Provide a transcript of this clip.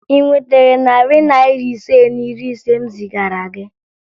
Ị nwetara narị Naira ise na iri ise m zigara gị?